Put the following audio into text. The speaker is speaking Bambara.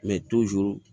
Mɛ